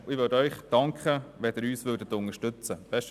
Ich würde Ihnen danken, wenn Sie uns unterstützten.